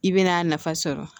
I bɛna a nafa sɔrɔ